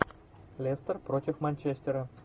лестер против манчестера